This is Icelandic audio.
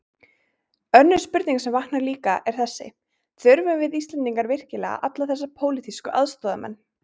Önnur spurning sem vaknar líka, er þessi: Þurfum við Íslendingar virkilega alla þessa pólitísku aðstoðarmenn?